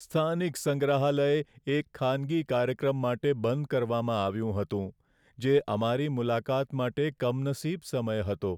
સ્થાનિક સંગ્રહાલય એક ખાનગી કાર્યક્રમ માટે બંધ કરવામાં આવ્યું હતું, જે અમારી મુલાકાત માટે કમનસીબ સમય હતો.